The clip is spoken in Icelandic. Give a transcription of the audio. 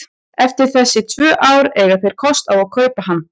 Eftir þessi tvö ár eiga þeir kost á að kaupa hann.